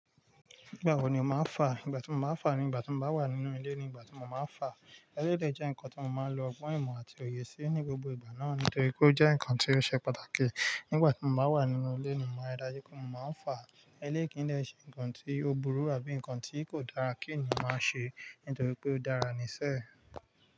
Nígbà wo ni màá fà? Nígbà tí mo máa fà nígbà tí mo bá wà nínú ilé ni ìgbà tí mo máa fà. Eléídè jẹ́ nǹkan tí mo máa ń lo gbọ́n ìmọ̀ àti òye sí ní gbogbo ìgbà náà nítorí pé ó jẹ́ nǹkan tí ó ṣe pàtàkì. Nígbà tí mo bá wà nínú ilé ni mo máa dájú pé mo máa ń fà. Eléèkìnnú jẹ́ nǹkan tí ó burú àbí nǹkan tí kò dára kí ènìyàn ṣe nítorí pé ó dára níṣẹ́